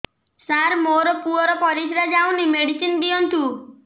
ସାର ମୋର ପୁଅର ପରିସ୍ରା ଯାଉନି ମେଡିସିନ ଦିଅନ୍ତୁ